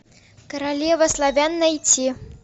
королева славян найти